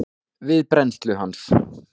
við brennslu hans.